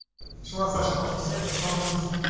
шла саша по шоссе и сосала сушку